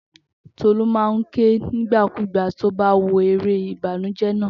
Tolú máa ń ké nígbàkúùgbà tó bá wo eré Ìbànújẹ́ naa